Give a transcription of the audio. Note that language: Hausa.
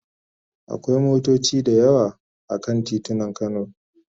Akwai motoci da yawa a kan titunan Kano.